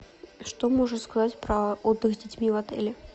что можешь сказать про отдых с детьми в отеле